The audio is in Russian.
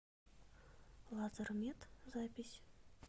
лазермед запись